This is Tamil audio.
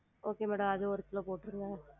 Okay madam அது ஒரு கிலோ போற்றுங்க